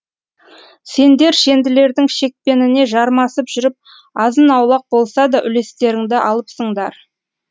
сендер шенділердің шекпеніне жармасып жүріп азын аулақ болса да үлестеріңді алыпсыңдар